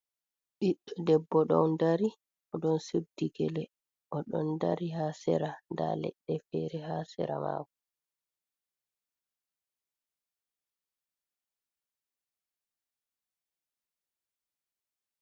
Ɓiɗɗo debbo ɗon dari. Oɗon suddi gele oɗo dari ha sera. Nda leɗɗe fere ha sera makoo.